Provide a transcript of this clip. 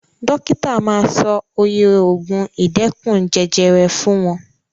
Dókítà ma sọ oye ògùn ìdẹ́kun jẹjẹrẹ fún wọn.